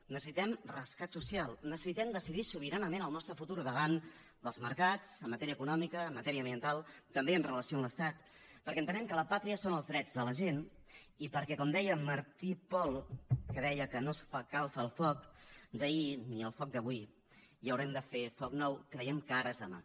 necessitem rescat social necessitem decidir sobiranament el nostre futur davant dels mercats en matèria econòmica en matèria ambiental també amb relació a l’estat perquè entenem que la pàtria són els drets de la gent i perquè com deia martí i pol que deia que no escalfa el foc d’ahir ni el foc d’avui i haurem de fer foc nou creiem que ara és demà